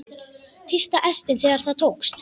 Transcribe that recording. Tísta ertin þegar það tókst.